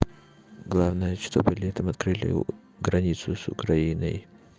главное чтобы летом открыли границу с украиной